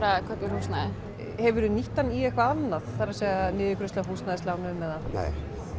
húsnæði hefurðu nýtt hann í eitthvað annað það er niðurgreiðslu á húsnæðislánum eða nei